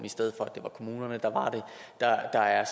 i stedet for kommunerne der er